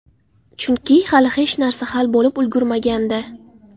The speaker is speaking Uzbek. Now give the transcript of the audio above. Chunki hali hech narsa hal bo‘lib ulgurmagandi.